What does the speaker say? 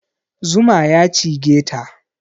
Zuma ya cigeta